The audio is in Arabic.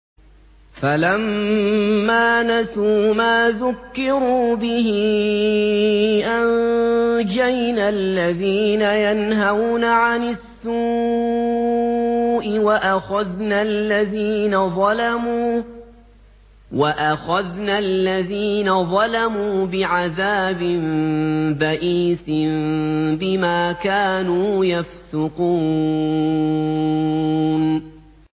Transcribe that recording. فَلَمَّا نَسُوا مَا ذُكِّرُوا بِهِ أَنجَيْنَا الَّذِينَ يَنْهَوْنَ عَنِ السُّوءِ وَأَخَذْنَا الَّذِينَ ظَلَمُوا بِعَذَابٍ بَئِيسٍ بِمَا كَانُوا يَفْسُقُونَ